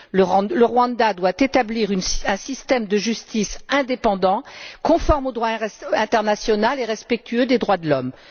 Le Rwanda doit établir un système de justice indépendant, conforme au droit international et respectueux des droits de l'homme.